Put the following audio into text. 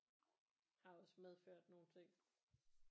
Har også medført nogle ting